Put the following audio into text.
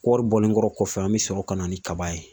Kɔɔri bɔlenkɔrɔ kɔfɛ an bɛ sɔrɔ ka na ni kaba ye